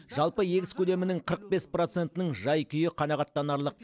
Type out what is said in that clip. жалпы егіс көлемінің қырық бес процентінің жай күйі қанағаттанарлық